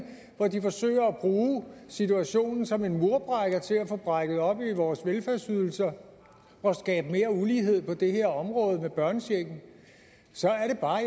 hvor de forsøger at bruge situationen som en murbrækker til at få brækket op i vores velfærdsydelser og skabe mere ulighed på det her område med børnechecken så